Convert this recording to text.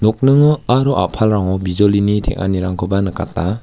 nokningo aro a·palrango bijolini teng·anirangkoba nikata.